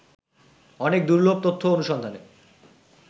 অনেক দুর্লভ তথ্য অনুসন্ধানে